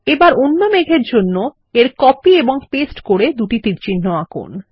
এবার অন্য মেঘের জন্য কপি এবং পেস্ট করে দুটি তীরচিহ্ন আঁকুন